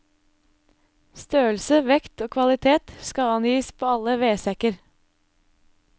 Størrelse, vekt og kvalitet skal angis på alle vedsekker.